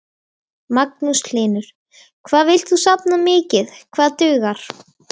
Magnús Hlynur: Hvað villt þú safna mikið, hvað dugar?